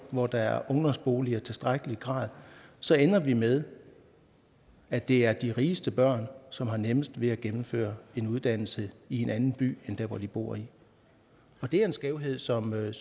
hvor der er ungdomsboliger i tilstrækkelig grad så ender vi med at det er de rigeste børn som har nemmest ved at gennemføre en uddannelse i en anden by end der hvor de bor det er en skævhed som jeg